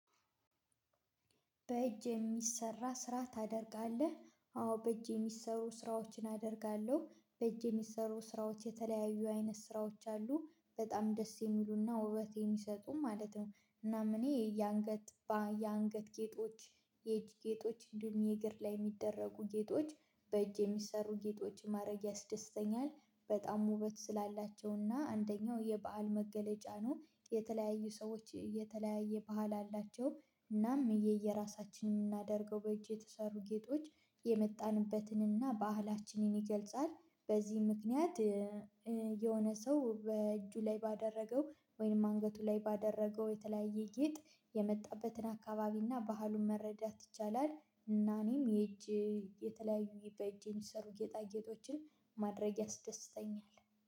በእጅ የሚሰራ ስራ ታደርጋለህ አዎ በእጅ የሚሰሩ ስራዎችን አደርጋለሁ በእጅ የሚሰሩ ስራዎች የተለያዩ አይነት ስራዎች አሉ በጣም ደስ የሚሉና ውበት የሚሰጡም ማለት ነው። እናም እኔ የአንገት የአንገት ጌጦች የእጅ ጌጦች እንዲሁም የእግር ላይ የሚደረጉ ጌጦች በእጅ የሚሰሩ ጌጦች ማድረግ ያስደስተኛል። በጣም ውበት ስላላቸውና አንደኛው የበሐል መገለጫ ነው። የተለያዩ ሰዎች የተለያየ ባህል አላቸው። እናም የየራሳችንን የምናደርገው በእጄ የተሰሩ ጌጦች የመጣንበትንና ባህላችንን ይገልጻል። በዚህ ምክንያት የሆነ ሰው በእጁ ላይ ባደረገው ወይም አንገቱ ላይ ባደረገው የተለያየ ጌጥ የመጣበትን አካባቢና ባህሉን መረዳት ይቻላል። እና እኔም የእጅ የተለያዩ በእጅ የሚሰሩ ጌጣጌጦችን ማድረግ ያስደስተኛል